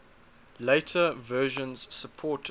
later versions supported